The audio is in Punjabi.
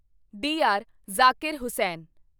ਡੀਆਰ. ਜ਼ਾਕਿਰ ਹੁਸੈਨ